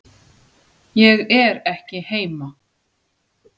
Ég er ekki heima